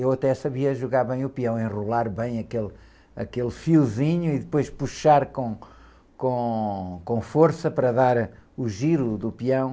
Eu até sabia jogar bem o peão, enrolar bem aquele, aquele fiozinho e depois puxar com, com, com força para dar o giro do peão.